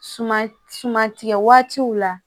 Suman suman tigɛ waatiw la